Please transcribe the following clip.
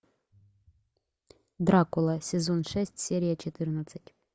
дракула сезон шесть серия четырнадцать